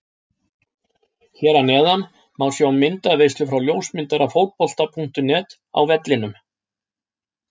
Hér að neðan má sjá myndaveislu frá ljósmyndara Fótbolta.net á vellinum.